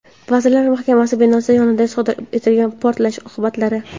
Vazirlar Mahkamasi binosi yonida sodir etilgan portlash oqibatlari.